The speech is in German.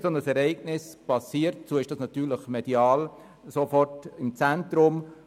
Wenn ein solches Ereignis passiert, steht es medial natürlich sofort im Zentrum.